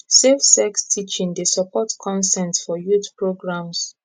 safe sex teaching dey support consent for youth programs